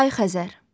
Ay Xəzər.